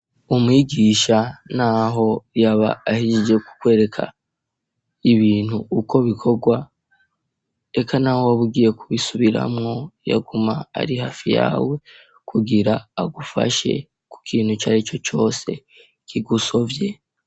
Umwigisha naho yaba ahejeje kukwereka ,ibintu uko bikorwa, eka naho wobugiye kubisubiramwo ,yo, guma ari hafi yawe, kugira agufashe ku kintu cari co cose kigusovye.